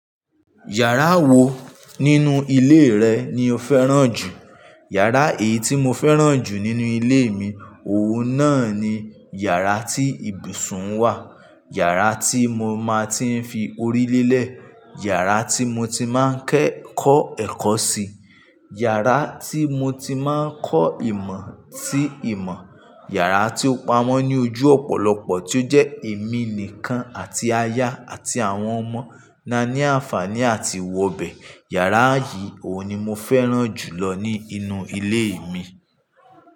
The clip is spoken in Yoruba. Yàrá wo nínú ilé rẹ ni o fẹ́ràn jù? Yàrá èyí tí mo fẹ́ràn jù nínú ilé mi, òun náà ni yàrá tí ibùsùn wà, yàrá tí mo máa ti ń fi orí lé lẹ̀, yàrá tí mo ti máa ń kẹ́ kọ́ ẹ̀kọ́ sí, yàrá tí mo ti máa ń kọ́ ìmọ̀ sí ìmọ̀, yàrá tí ó pamọ́ ní ojú ọ̀pọ̀lọpọ̀ tí ó jẹ́ èmi nìkan àti aya àti àwọn ọmọ là ní àǹfààní àti wọbẹ̀. Yàrá yìí, òun ni mo fẹ́ràn jù lọ ní inú ilé mi.